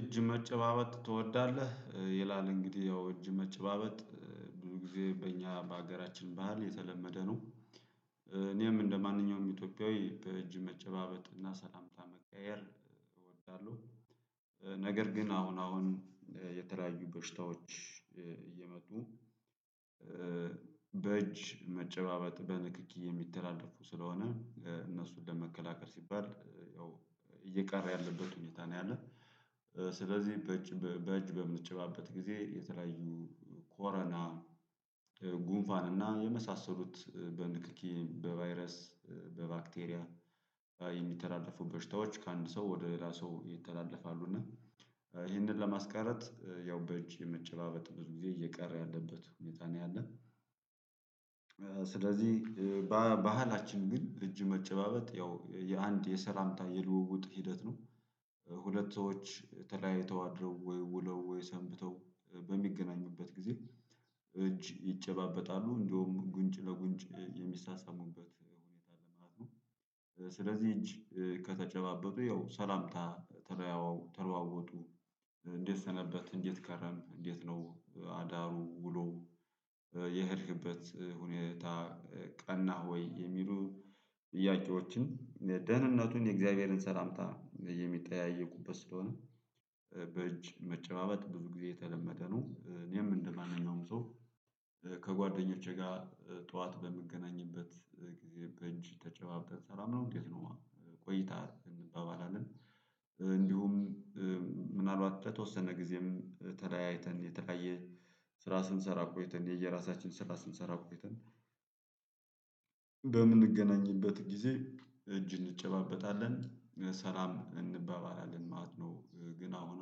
እጅ መጨባበጥ ትወዳለህ? ይላል እንግዲህ ያው እጅ መጨባበጥ ብዙ ጊዜ በእኛ በሀገራችን ባህል የተለመደ ነው። እኔም እንደማንኛውም ኢትዮጵያዊ በእጅ መጨባበጥ እና ሰላምታ መቀያየር እወዳለው። ነገር ግን አሁን አሁን የተለያዩ በሽታዎች እየመጡ። በእጅ መጨባበጥ በንክኪ የሚተላለፉ ስለሆነ እነሱን ለመከላከል ሲባል ያው እየቀረ ያለበት ሁኔታ ነው ያለው። ስለዚህ በእጅ በእጅ በምንጨባበት ጊዜ የተለያዩ ኮረና ጉንፋን እና የመሳሰሉት በንክኪ በቫይረስ በባክቴሪያ የሚተላለፉ በሽታዎች ከአንድ ሰው ወደ ሌላ ሰው ይተላለፋሉ። እና ይህንን ለማስቀረት ያው በእጅ የመጨባበጥ ብዙ ጊዜ እየቀረ ያለበት ሁኔታ ነው ያለ። ስለዚህ ባህላችን ግን እጅ መጨባበጥ ያው የአንድ የሰላምታ የልውውጥ ሂደት ነው። ሁለት ሰዎች ተለያይተው አድረው ወይ ውለው ወይ ሰንብተው በሚገናኙበት ጊዜ። እጅ ይጨባበጣሉ እንደውም ጉንጭ ለጉንጭ የሚሳሳሙበት ሁኔታ ለማለት ነው። ስለዚህ እጅ ከተጨባበጡ ይኸው ሰላምታ ተለዋወጡ። እንዴት ሰነበትክ እንዴት ከረምክ እንዴት ነው አዳሩ ውሎው የሄድክበት ሁኔታ። ቀናህ ወይ የሚሉ ጥያቄዎችን ደህንነቱን የእግዚአብሔርን ሰላምታ የሚጠያየቁበት ስለሆነ በእጅ መጨባበጥ ብዙ ጊዜ የተለመደ ነው። እኔም እንደማንኛውም ሰው ከጓደኞቼ ጋር ጠዋት በምገናኝበት ጊዜ በእጅ ተጨባብጠን ሰላም ነው እንዴት ነው ቆይታ እንባባላለን። እንዲሁም ምናልባት በተወሰነ ጊዜም ተለያይተን የተቀየረ ስራ ስንሰራ ቆይተን የየራሳችን ስራ ስንሰራ ቆይተን በምንገናኝበት ጊዜ እጅ እንጨባበጣለን ሰላም እንባባላለን ማለት ነው። ግን አሁን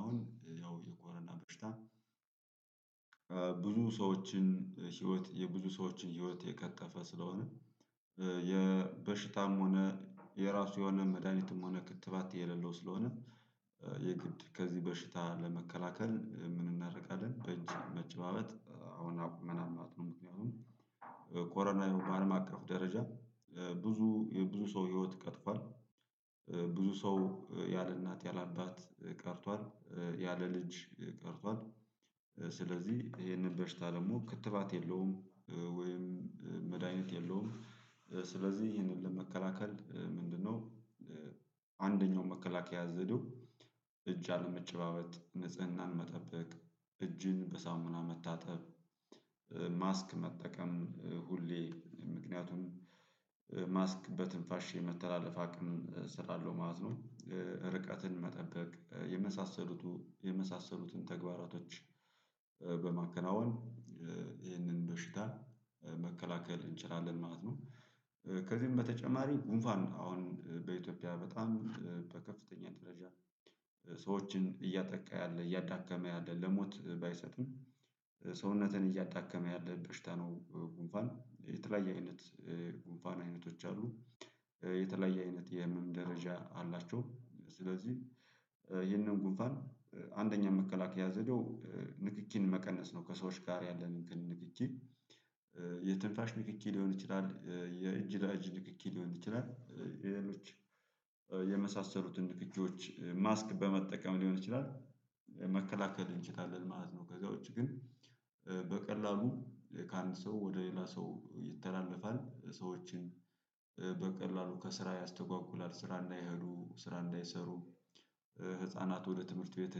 አሁን ያው የኮረና በሽታ ብዙ ሰዎችን ህይወት የብዙ ሰዎችን ህይወት የቀጠፈ ስለሆነ። የበሽታም ሆነ የራሱ የሆነ መድሃኒትም ሆነ ክትባት የሌለው ስለሆነ። የግድ ከዚህ በሽታ ለመከላከል ምን እናደርጋለን? በእጅ መጨባበጥ አሁን አቁመናል ማለት ነው። ምክንያቱም በኮረና በአለም አቀፍ ደረጃ ብዙ የብዙ ሰው ህይወት ቀጥፏል። ብዙ ሰው ያለ እናት ያለ አባት ቀርቷል። ያለ ልጅ ቀርቷል። ስለዚህ ይሄንን በሽታ ደግሞ ክትባት የለውም። ወይም መድሃኒት የለውም። ስለዚህ ይሄንን ለመከላከል ምንድነው? አንደኛው መከላከያ ዘዴው እጅ አለመጨባበጥ ንጽህናን መጠበቅ እጅን በሳሙና መታጠብ። ማስክ መጠቀም ሁሌ ምክንያቱም ማስክ በትንፋሽ የመተላለፍ አቅም ስላለው ማለት ነው። ርቀትን መጠበቅ የመሳሰሉቱ የመሳሰሉትን ተግባራቶች። በማከናወን ይህንን በሽታ መከላከል እንችላለን ማለት ነው። ከዚህም በተጨማሪ ጉንፋን ነው አሁን በኢትዮጵያ በጣም በከፍተኛ ደረጃ ሰዎችን እያጠቃ ያለ እያዳከመ ያለ ለሞት ባይሰጥም። ሰውነትን እያዳከመ ያለ እንጥሽታ ነው ጉንፋን የተለያየ አይነት ጉንፋን አይነቶች አሉ። የተለያየ አይነት የህመም ደረጃ አላቸው ስለዚህ። ይህንን ጉንፋን አንደኛ መከላከያ ዘዴው ንክኪን መቀነስ ነው ከሰዎች ጋር ያለንን ንክኪ። ንክኪ ሊሆን ይችላል የእጅ ለእጅ ንክኪ ሊሆን ይችላል የሌሎች የመሳሰሉትን ንክኪዎች ማስክ በመጠቀም ሊሆን ይችላል። መከላከል እንችላለን ማለት ነው። ከዛ ውጭ ግን በቀላሉ ከአንድ ሰው ወደ ሌላ ሰው ይተላለፋል። ሰዎችን በቀላሉ ከስራ ያስተጓጉላል ስራ እንዳይሄዱ ስራ እንዳይሰሩ። ህፃናት ወደ ትምህርት ቤት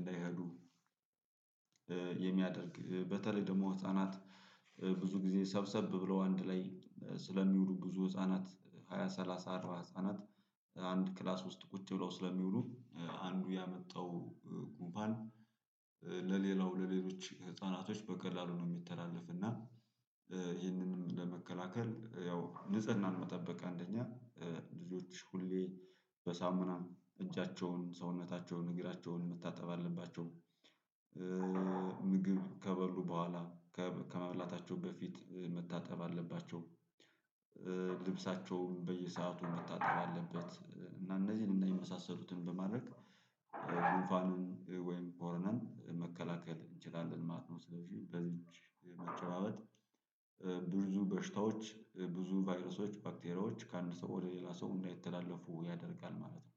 እንዳይሄዱ። የሚያደርግ በተለይ ደግሞ ህፃናት ብዙ ጊዜ ሰብሰብ ብለው አንድ ላይ ስለሚውሉ ብዙ ህፃናት ሃያ ሰላሳ አራት ህፃናት አንድ ክላስ ውስጥ ቁጭ ብለው ስለሚውሉ አንዱ ያመጣው ጉንፋን። ለሌላው ለሌሎች ህፃናቶች በቀላሉ ነው የሚተላለፍ እና። ይህንንም ለመከላከል ያው ንጽህናን መጠበቅ አንደኛ ልጆች ሁሌ በሳሙናም እጃቸውን ሰውነታቸውን እግራቸውን መታጠብ አለባቸው። ምግብ ከበሉ በኋላ ከመብላታቸው በፊት መታጠብ አለባቸው። ልብሳቸውም በየሰአቱ መታጠብ አለበት። እና እነዚህን እና የመሳሰሉትን በማድረግ ጉንፋንን ወይም ኮረናን መከላከል እንችላለን ማለት ነው። ስለዚህ በእጅ መጨባበጥ ብዙ በሽታዎች ብዙ ቫይረሶች ባክቴሪያዎች ከአንድ ሰው ወደ ሌላ ሰው እንዳይተላለፉ ያደርጋል ማለት ነው።